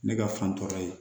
Ne ka fan tɔ ye